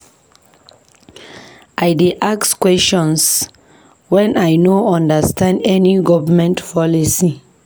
I dey ask questions wen I no understand any government policy.